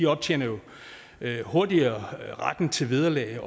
optjener jo hurtigere retten til vederlag